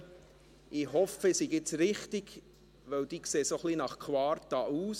Ich hoffe, ich sei jetzt richtig, denn die Gäste auf der Tribüne sehen jetzt ein wenig nach Quarta aus.